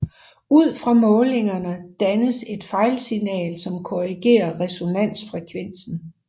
Ud fra målingerne dannes et fejlsignal som korrigerer resonansfrevensen